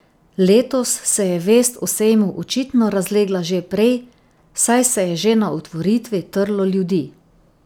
Letos se je vest o sejmu očitno razlegla že prej, saj se je že na otvoritvi trlo ljudi.